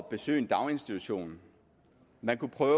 besøge en daginstitution man kunne prøve